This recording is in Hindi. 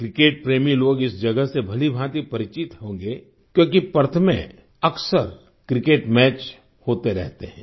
क्रिकेट प्रेमी लोग इस जगत से भलीभांति परिचित होंगे क्योंकि पर्थ में अक्सर क्रिकेट मैच होते रहते हैं